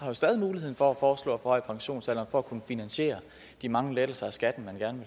jo stadig muligheden for at foreslå at forhøje pensionsalderen for at kunne finansiere de mange lettelser af skatten man gerne